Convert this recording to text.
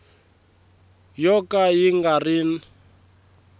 yo ka yi nga ri